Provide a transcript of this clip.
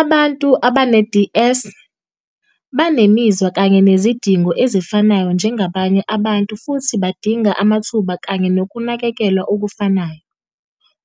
Abantu abane-DS banemizwa kanye nezidingo ezifanayo njengabanye abantu futhi badinga amathuba kanye nokunakekelwa okufanayo,"